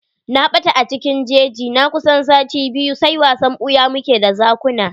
Na ɓata a cikin jeji na kusan sati biyu, sai wasan ɓuya mu ke d zakun.